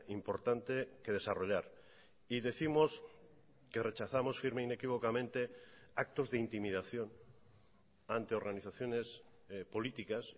importante que desarrollar y décimos que rechazamos firme e inequívocamente actos de intimidación ante organizaciones políticas